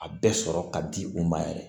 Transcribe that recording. A bɛɛ sɔrɔ ka di u ma yɛrɛ